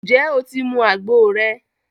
ǹjẹ́ o ti mu àgbo rẹ?